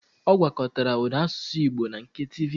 Ọ gwakọtara ụda asụsụ Igbo na nke tivi